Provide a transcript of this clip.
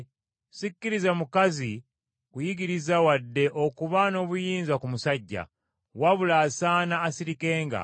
Sikkiriza mukazi kuyigiriza wadde okuba n’obuyinza ku musajja, wabula asaana asirikenga.